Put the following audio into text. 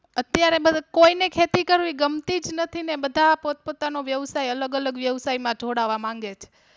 અત્યારે કોઈને ખેતી કરવી ગમતી જ નથી ને બધા પોતપોતાનો વ્યવસાય અલગઅલગ વ્યવસાય માં જોડાવા માંગે છે